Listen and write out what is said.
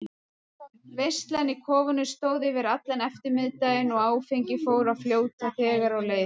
Veislan í kofanum stóð yfir allan eftirmiðdaginn og áfengið fór að fljóta þegar á leið.